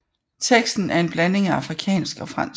Teksten er en blanding af afrikansk og fransk